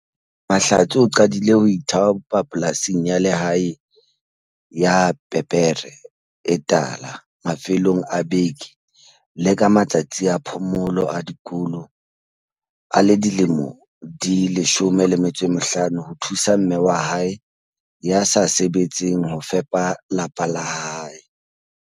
Mahlatse o qadile ho ithaopa polasing ya lehae ya pepere e tala mafelong a beke le ka matsatsi a phomolo ya dikolo a le dilemo di 15 ho thusa mme wa hae ya sa sebetseng ho fepa lapa la hae.